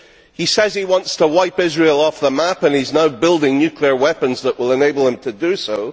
he says he wants to wipe Israel off the map and he is now building nuclear weapons that will enable him to do so.